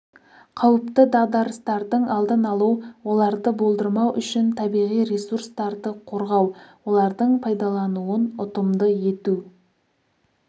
қауіпті дағдарыстардың алдын алу оларды болдырмау үшін табиғи ресурстарды қорғау олардың пайдаланылуын ұтымды ету